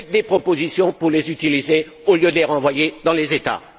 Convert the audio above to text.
Faites des propositions pour les utiliser au lieu de les renvoyer dans les États.